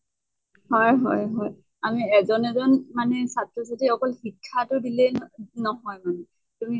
হয় হয় হয়। আমি এজন এজন মানে ছাত্ৰ ছাত্ৰী অকল শিক্ষা টো দিলেই ন নহয় মানে। তুমি